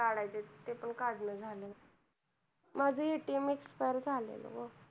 ते पण काढायचं आहे ते पण काढणं झालं नाही माझ ATM expire झालेलं ग